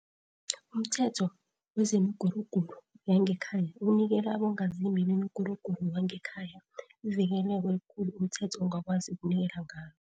UmThetho wezemiGuruguru yangeKhaya unikela abongazimbi bomguruguru wangekhaya ivikeleko elikhulu umthetho ongakwazi ukunikela ngalo.